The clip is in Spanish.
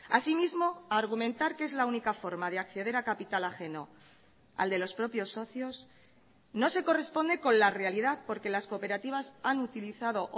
asimismo argumentar que es la única forma de acceder a capital ajeno al de los propios socios no se corresponde con la realidad porque las cooperativas han utilizado